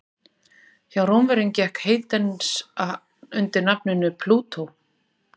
Hjá Rómverjum gekk Hades undir nafninu Plútó.